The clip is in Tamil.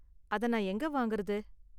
அத நான் எங்க வாங்குறது?